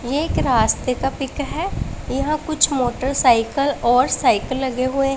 ये एक रास्ते का पिक है यहां कुछ मोटरसाइकल और साइकल लगे हुए--